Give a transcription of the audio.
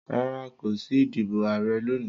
Rara, ko si idibo ààrẹ loni.